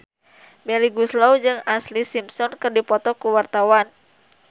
Melly Goeslaw jeung Ashlee Simpson keur dipoto ku wartawan